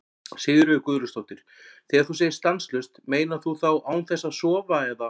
Sigríður Guðlaugsdóttir: Þegar þú segir stanslaust, meinar þú þá án þess að sofa eða?